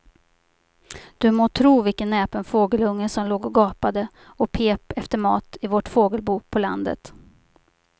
Du må tro vilken näpen fågelunge som låg och gapade och pep efter mat i vårt fågelbo på landet.